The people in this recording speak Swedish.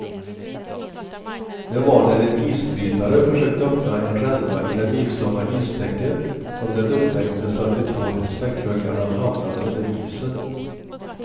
Det var när en isbrytare försökte öppna en ränna i det milslånga istäcket som det upptäcktes att de två späckhuggarna hamnat under isen.